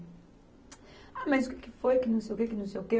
Ah, mas o que que foi, que não sei o quê, que não sei o quê?